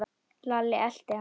Lalli elti hann.